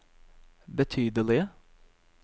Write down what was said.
betydelige